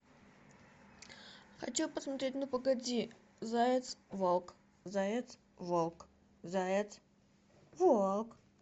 хочу посмотреть ну погоди заяц волк заяц волк заяц волк